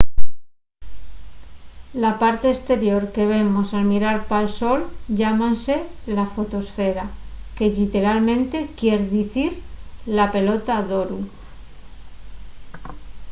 la parte esterior que vemos al mirar pal sol llámase la fotoesfera que lliteralmente quier dicir la pelota d’oru